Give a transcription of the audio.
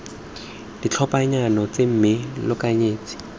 ditlhophanyana tseno mme lo lekanyetse